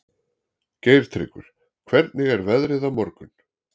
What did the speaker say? Geirtryggur, hvernig er veðrið á morgun?